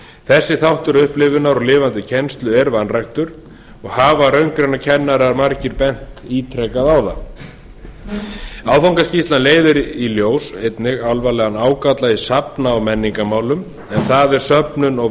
þessi þáttur upplifunar og lifandi kennslu er vanræktur og hafa raungreinakennarar margir bent ítrekað á það áfangaskýrslan leiðir einnig í ljós alvarlegan ágalla í safna og menningarmálum en það er söfnun og